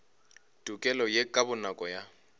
tokelo ye ka bonako ya